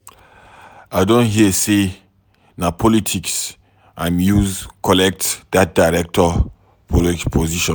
I don hear sey na politics im use collect dat director position.